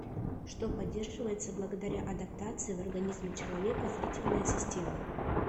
что поддерживается благодаря адаптации в организме человека зрительная система